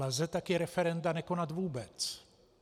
Lze také referenda nekonat vůbec.